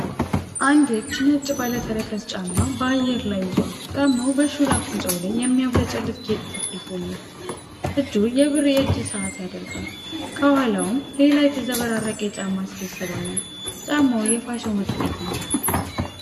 አንድ እጅ ነጭ ባለ ተረከዝ ጫማ በአየር ላይ ይዟል። ጫማው በሹል አፍንጫው ላይ የሚያብለጨልጭ ጌጥ ተለጥፎለታል። እጁ የብር የእጅ ሰዓት ያደርጋል። ከኋላውም ሌላ የተዘበራረቀ የጫማ ስብስብ አለ። ጫማው የፋሽን ውጤት ነው።